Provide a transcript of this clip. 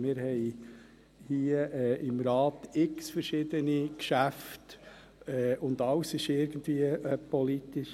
Wir haben hier im Rat zahlreiche verschiedene Geschäfte, und alles ist irgendwie politisch.